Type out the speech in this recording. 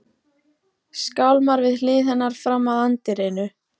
Skálmar við hlið hennar fram að anddyrinu.